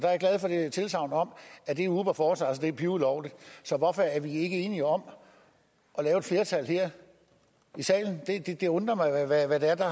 jeg er tilsagnet om at det uber foretager sig er pivulovligt så hvorfor er vi ikke enige om at lave et flertal her i salen det undrer mig hvad det er der